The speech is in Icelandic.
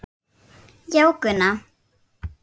Já, Gunna.